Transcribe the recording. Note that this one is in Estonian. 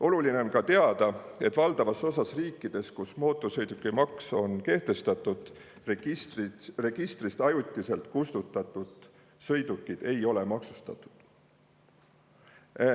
Oluline on ka teada, et valdavas osas riikides, kus mootorsõidukimaks on kehtestatud, registrist ajutiselt kustutatud sõidukid ei ole maksustatud.